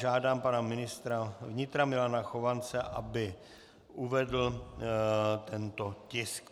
Žádám pana ministra vnitra Milana Chovance, aby uvedl tento tisk.